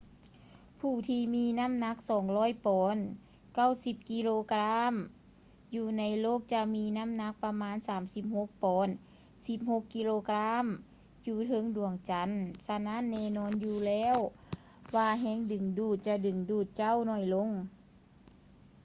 ຜູ້ທີ່ມີນໍ້າໜັກ 200 ປອນ 90 ກິໂລກຣາມ ຢູ່ໃນໂລກຈະມີນໍ້າໜັກປະມານ 36 ປອນ 16 ກິໂລກຣາມ ຢູ່ເທິງດວງຈັນ. ສະນັ້ນ ແນ່ນອນຢູ່ແລ້ວວ່າແຮງດຶງດູດຈະດຶງດູດເຈົ້າໜ້ອຍລົງ